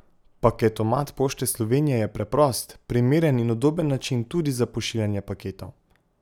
Paketomat Pošte Slovenije je preprost, primeren in udoben način tudi za pošiljanje paketov.